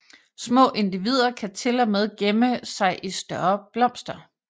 Små individer kan til og med gemme sig i større blomster